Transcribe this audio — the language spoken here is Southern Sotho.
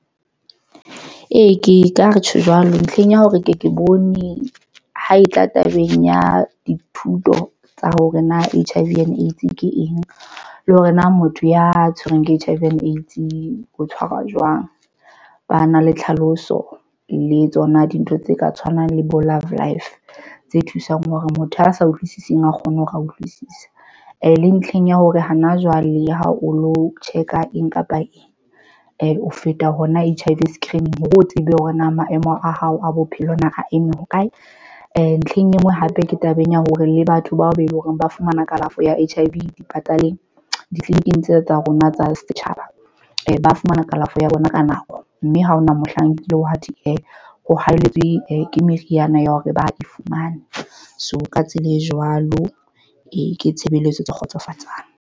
Ee, ke ka re tjho jwalo ntlheng ya hore ke ke bone ho e tla tabeng ya dithuto tsa hore na H_I_V and AIDS ke eng le hore na motho ya tshwerweng ke H_l_V and AIDS ho tshwarwa jwang. Ba na le tlhaloso le tsona. Dintho tse ka tshwanang le bo love life tse thusang hore motho a sa utlwisising a kgone ho ra utlwisisa. E le ntlheng ya hore hana jwale ha o lo check-a eng kapa eng o feta hona H_I_V screening hore o tsebe hore na maemo a hao a bophelo na re eme hokae ntlheng e nngwe. Hape ke tabeng ya hore le batho bao be leng hore ba fumana kalafo ya H_I_V dipataleng ditleliniking tsena tsa rona tsa setjhaba, ba fumana kalafo ya bona ka nako mme ha hona mohlang nkile wa ho hatelletswe ke meriana ya hore ba e fumane. So ka tsela e jwalo, e ke tshebeletso tse kgotsofatsang.